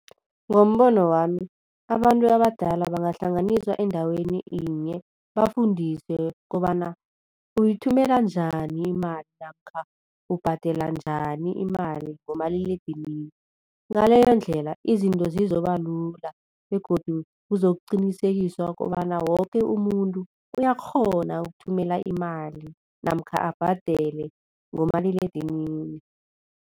Ngombono wami, abantu abadala bangahlanganiswa endaweni yinye bafundiswe kobana uyithumela njani imali namkha ubhadela njani imali ngomaliledinini. Ngaleyondlela izinto zizokubalula begodu kuzokuqinisekiswa kobana woke umuntu uyakghona ukuthumela imali namkha abhadele ngomaliledinini.